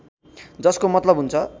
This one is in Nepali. जसको मतलब हुन्छ